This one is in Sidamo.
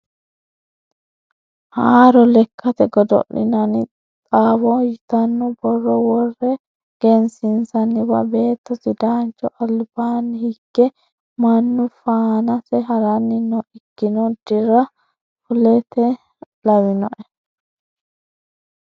Haaro lekkate godo'linanni xawo yitano borro wore wgensiisaniwa beetto sidaancho albaani higenna mannu faanase harani no ikkino dira fuleti lawinoe.